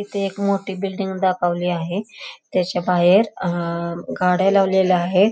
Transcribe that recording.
इथे एक मोठी बिल्डिंग दाखवली आहे त्याच्या बाहेर अह गाड्या लावलेल्या आहे